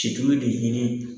Situlu de ɲinin